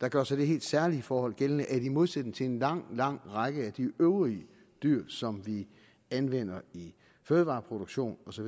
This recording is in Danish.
der gør sig det helt særlige forhold gældende at i modsætning til en lang lang række af de øvrige dyr som vi anvender i fødevareproduktion osv